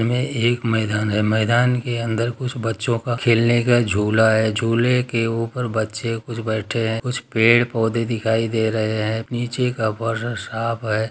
इमे एक मैदान है मैदान के अंदर कुछ बच्चों का खेलने का झूला है झूले के ऊपर बच्चे कुछ बैठे है कुछ पेड़-पौधे दिखाई दे रहे है नीचे का साफ है।